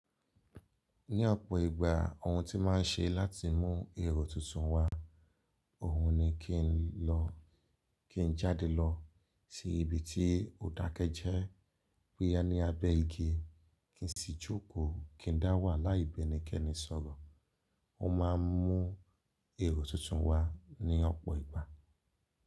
Ní ọ̀pọ̀ ìgbà ohun tí máa ń ṣe láti mú èrò tuntun wá, òhun ni kí n lọ, kí n jáde lọ sí ibi tí òdake jẹ́ boya ní abẹ́ igi, kí n sì jókòó, kí n dá wà láìbẹ́ni kẹ́ni sọ̀rọ̀. Ó maa ń mú èrò tuntun wá ní ọ̀pọ̀ ìgbà.